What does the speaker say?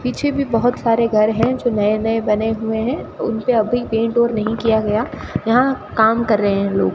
पीछे भी बहोत सारे घर है जो नए नए बने हुए है उन पर अभी पेंट और नहीं किया गया यहां काम कर रहे है लोग --